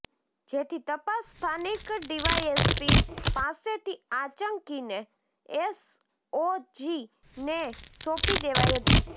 જેથી તપાસ સ્થાનિક ડીવાયએસપી પાસેથી આંચકીને એસઓજીને સોંપી દેવાઈ હતી